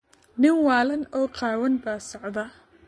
Nin waalan oo qaawan baa socda.